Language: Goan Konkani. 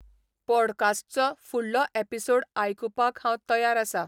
ˈपॉडकास्ट्चो फुडलो एपिसोड आयकुपाक हांव तयार आसा